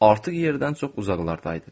Artıq yerdən çox uzaqlardaydım.